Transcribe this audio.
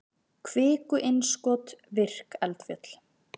kviku-innskot virk eldfjöll